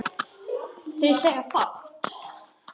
Þeir segja fátt